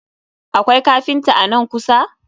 Akwai kafinta a nan kusa?